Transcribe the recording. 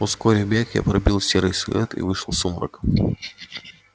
ускорив бег я пробил серый силуэт и вышел в сумрак